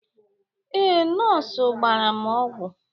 Ee, nọọsụ gbara m ọgwụ